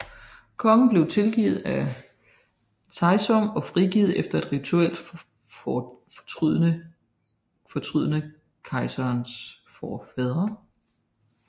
Kongen blev tilgivet af Taizong og frigivet efter et rituelt fortrydende kejsers forfædre